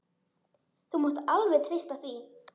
Þú mátt alveg treysta því.